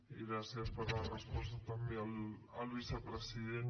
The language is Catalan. i gràcies per la resposta també al vicepresident